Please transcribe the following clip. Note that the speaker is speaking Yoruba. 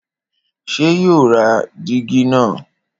Ṣé yóò ra dígí nà?